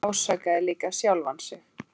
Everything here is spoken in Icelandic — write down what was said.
Mamma ásakaði líka sjálfa sig.